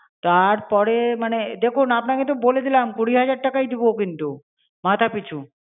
তারপরে মানে দেখুন আপনাকে তো বলে দিলাম কুড়ি হাজার টাকাই দেব কিন্তু, মাথাপিছু।